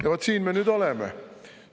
Ja siin me nüüd oleme.